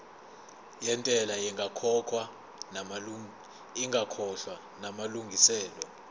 yentela ingakakhokhwa namalungiselo